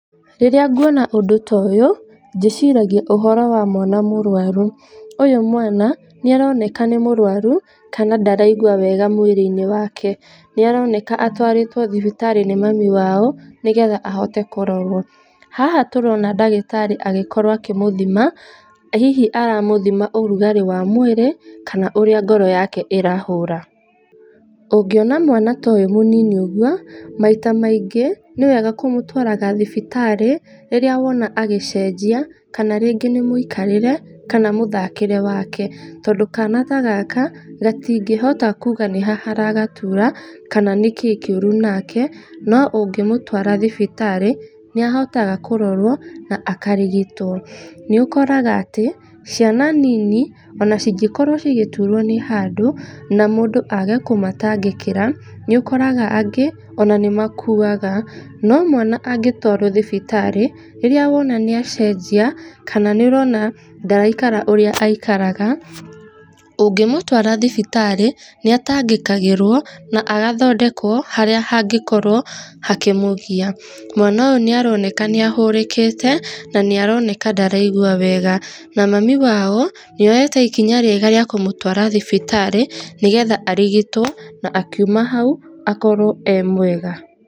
Rĩrĩa nguona ũndũ ta üyũ, ndĩciragia ũhoro wa mwana mũrwaru. Ũyũ mwana nĩaroneka nĩ mũrwaru kana ndaraigua wega mwĩrĩ-inĩ wake, nĩaroneka atwarĩtwo thibitarĩ nĩ mami wao, nĩgetha ahote kũrorwo. Haha tũrona ndagĩtarĩ agĩkorwo akĩmũthima, hihi aramũthima ũrugarĩ wa mwĩrĩ, kana ũrĩa ngoro yake ĩrahũra. Ũngĩona mwana ta ũyũ mũnini ũguo, maita maingĩ, nĩwega kũmũtwaraga thibitarĩ, rĩrĩa wona agĩcenjia, kana rĩngĩ nĩ mũikarĩre, kana mũthakĩre wake, tondũ kana ta gaka gatingĩhota kuuga nĩha haragatura, kana nĩ kĩ kĩũru nake, no ũngĩmũtwara thibitarĩ, nĩahotaga kũrorwo na akarigitwo. Nĩũkoraga atĩ, ciana nini, ona cĩngĩkorwo cigĩturwo nĩ handũ, na mũndũ aage kũmatangĩkĩra, nĩũkoraga angĩ ona nĩmakuaga. No mwana angĩtwarwo thibitarĩ rĩrĩa wona nĩacenjia, kana nĩũrona ndaraikara ũrĩa aikaraga, ũngĩmũtwara thibitarĩ, nĩatangĩkagĩrwo, na agathondekwo harĩa hangĩkorwo hakĩmũgia. Mwana ũyũ nĩaroneka nĩahũrĩkĩte, na nĩaroneka ndaraigua wega, na mami wao nĩoyete ikinya rĩega rĩa kũmũtwara thibitarĩ , nĩgetha arigitwo na akiuma hau, akorwo ee mwega.